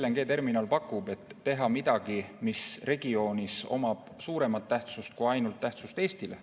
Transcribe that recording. Me teha midagi, mis omab suuremat tähtsust kui ainult Eestile.